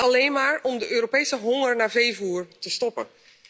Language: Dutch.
Alleen maar om de Europese honger naar veevoer te stillen.